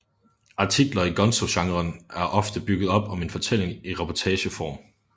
Artikler i gonzogenren er ofte bygget op om en fortælling i reportageform